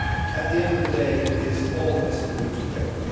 At the end of the day, it is always doomed to fail.